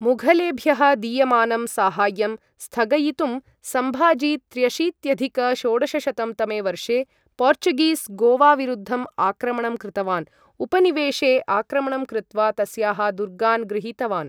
मुघलेभ्यः दीयमानं साहाय्यं स्थगयितुं सम्भाजी त्र्यशीत्यधिक षोडशशतं तमे वर्षे पोर्चुगीस् गोवाविरुद्धम् आक्रमणं कृतवान्, उपनिवेशे आक्रमणं कृत्वा तस्याः दुर्गान् गृहीतवान्।